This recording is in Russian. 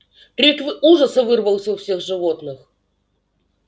крик в ужаса вырвался у всех животных